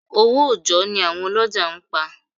Owó òjọ́ ni àwọn ọlọ́jà ń pa.